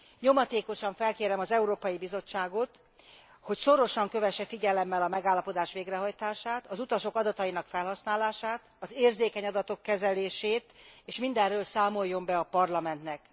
Nyomatékosan felkérem az Európai Bizottságot, hogy szorosan kövesse figyelemmel a megállapodás végrehajtását, az utasok adatainak felhasználását, az érzékeny adatok kezelését és mindenről számoljon be a Parlamentnek.